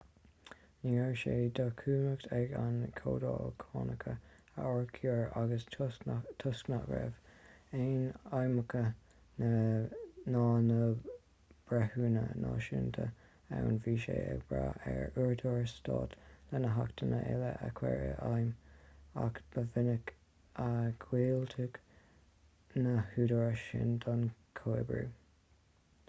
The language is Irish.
ní raibh sé de chumhacht ag an gcomhdháil cánacha a fhorchur agus toisc nach raibh aon fheidhmeannach ná na breithiúna náisiúnta ann bhí sí ag brath ar údaráis stáit lena hachtanna uile a chur i bhfeidhm ach ba mhinic a dhiúltaigh na húdaráis sin don chomhoibriú